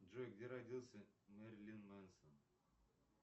джой где родился мерлин менсон